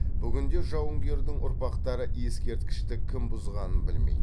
бүгінде жауынгердің ұрпақтары ескерткішті кім бұзғанын білмейді